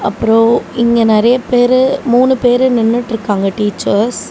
அப்றம் இங்க நெரிய பெறு மூணு பெறு நின்னுட்டுருக்காங்க டீச்சர்ஸ் .